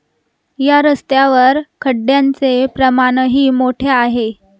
या रस्त्यावर खड्ड्यांचे प्रमाणही मोठे आहे.